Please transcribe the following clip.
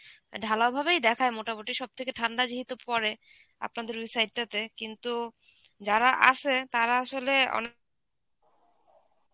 ঢালাও ভাবেই দেখায় মোটামুটি সব থেকে ঠাণ্ডা যেহেতু পরে. আপনাদের ওই side টাতে. কিন্তু যারা আছে তাঁরা আসলে অনেক